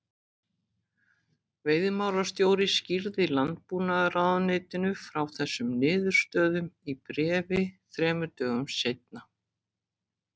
Veiðimálastjóri skýrði Landbúnaðarráðuneytinu frá þessum niðurstöðum í bréfi þrem dögum seinna.